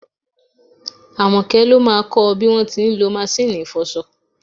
Àmọ́kẹ́ ló máà kọ bí wọ́n ti ń lọ maṣíìnì ìfọṣọ.